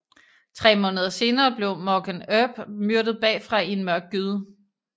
Tre måneder senere blev Morgan Earp myrdet bagfra i en mørk gyde